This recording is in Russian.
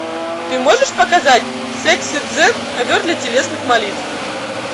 ты можешь показать секс и дзен ковер для телесных молитв